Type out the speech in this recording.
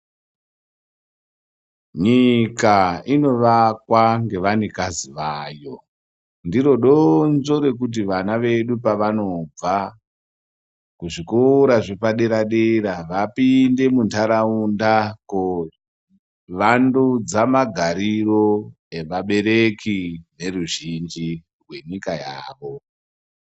Nyika indovakwa nevanyikazi vayo , ndiro donzvo rekuti vana vedu pavanobva kuzvikora zvepadera dera vapinde mu ntaraunda kovandudza magariro evabereki veruzhinji rwenyika yavo.